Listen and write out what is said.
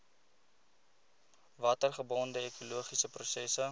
watergebonde ekologiese prosesse